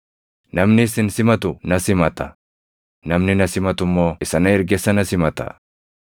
“Namni isin simatu na simata; namni na simatu immoo isa na erge sana simata.